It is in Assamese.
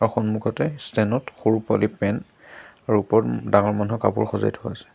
সন্মুখতে ষ্টেন ত সৰু পোৱালি পেণ্ট আৰু ওপৰত ডাঙৰ মানুহৰ কাপোৰ সজাই থোৱা আছে।